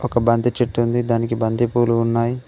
ఒక బంతి చెట్టు ఉంది దానికి బంతిపూలు ఉన్నాయి.